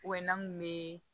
n'an kun bɛ